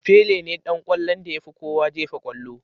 Pele ne Dan kwallon da yafi kowa jefa kwallo.